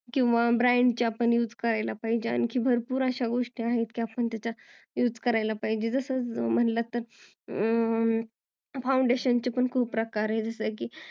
किंवा brand चे आपण त्याचा use करायला पाहिजेल आणखीन भरपुर अश्या गोष्टी आहेत जस म्हणालात तर foundation पण खुप प्रकार आहे जस की